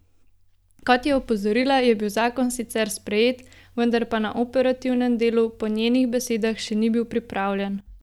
Kot je opozorila, je bil zakon sicer sprejet, vendar pa na operativnem delu po njenih besedah še ni bil pripravljen.